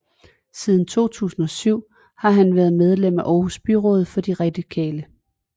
Siden 2007 har han været medlem af Aarhus Byråd for de radikale